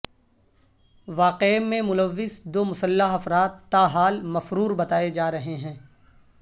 واقعے میں ملوث دو مسلح افراد تاحال مفرور بتائے جا رہے ہیں